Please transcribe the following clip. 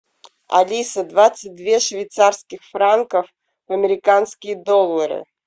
алиса двадцать две швейцарских франков в американские доллары